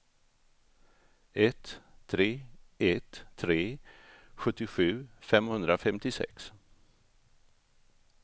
ett tre ett tre sjuttiosju femhundrafemtiosex